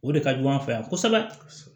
O de ka jugu an fɛ yan kosɛbɛ